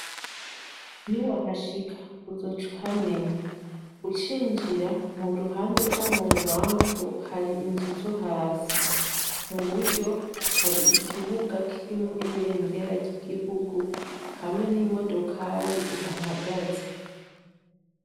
Niwahashika uzoca uhamenya, Ucinjira, mu ruhande rwo mu bubamfu hari inzu zo hasi. Mu buryo, hari ikibuga kirimwo ibendera ry'igihugu hamwe n'imodokari ihahagaze.